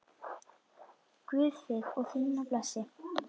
Guð þig og þína blessi.